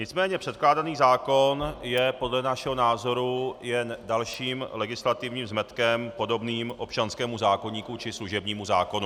Nicméně předkládaný zákon je podle našeho názoru jen dalším legislativním zmetkem podobným občanskému zákoníku či služebnímu zákonu.